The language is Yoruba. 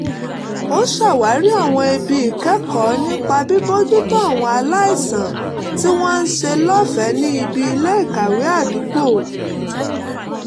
ó ṣàwárí àwọn ibi ìkẹ́kọ̀ọ́ nípa bíbójútó àwọn aláìsàn tí wọ́n ń ṣe lọ́fẹ̀ẹ́ ní ibi ilé-ìkàwé àdúgbò